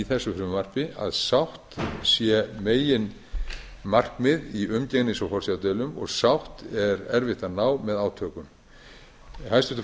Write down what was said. þessu frumvarpi að sátt sé meginmarkmið í umgengnis og forsjárdeilum og sátt er erfitt að ná með átökum hæstvirtur